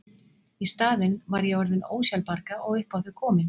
Í staðinn var ég orðin ósjálfbjarga og upp á þau komin.